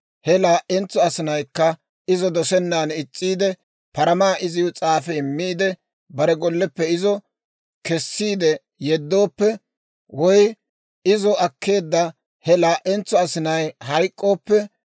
he laa"entso asinaykka izo dosennan is's'iide, paramaa iziw s'aafi immiide, bare golleppe izo kessiide yeddooppe, woy izo akkeedda he laa"entso asinay hayk'k'ooppe,